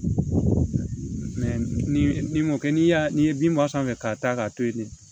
ni mɔkɛ n'i y'a n'i ye bin b'a sanfɛ k'a ta k'a to yen de